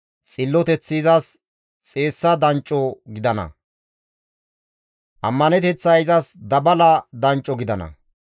Xilloteththi izas xeessa dancco gidana; ammaneteththay izas dabala dancco gidana.